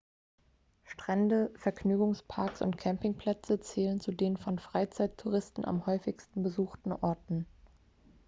strände vergnügungsparks und campingplätze zählen zu den von freizeittouristen am häufigsten besuchten orten